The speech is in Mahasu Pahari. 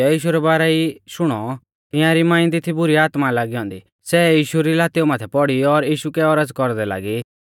तिऐ एकी छ़ेउड़ीऐ यीशु रै बारै ई शुणौ तियांरी मांई दी थी बुरी आत्मा लागी औन्दी सै यीशु री लातेऊ माथै पौड़ी और यीशु कै औरज़ कौरदै लागी